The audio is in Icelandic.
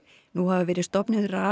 nú hafa verið stofnuð